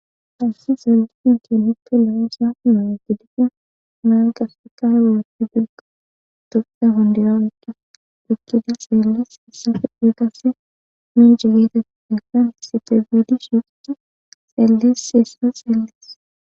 hassi xelliin kinippe leosa mo gidefe naa gastakay wolopti bilka dopda hondirawecce bikkida xeellees issafe digase minjegeeta ti defan sitebidi shiqt xeelles hessa xeeles